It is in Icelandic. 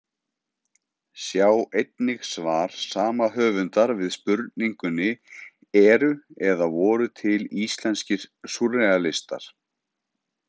Sjá einnig svar sama höfundar við spurningunni Eru eða voru til íslenskir súrrealistar?